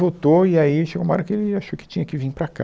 Voltou e aí ele chegou uma hora que ele achou que tinha que vim para cá.